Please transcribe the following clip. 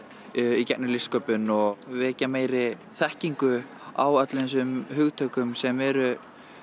í gegnum listsköpun og vekja meiri þekkingu á öllum þessum hugtökum sem eru